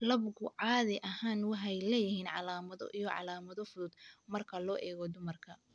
Labgu caadi ahaan waxay leeyihiin calaamado iyo calaamado fudud marka loo eego dumarka.